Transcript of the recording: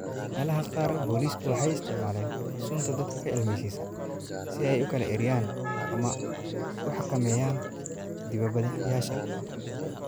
Meelaha qaar, boolisku waxay isticmaaleen sunta dadka ka ilmeysiisa si ay u kala eryaan ama u xakameeyaan dibadbaxayaasha.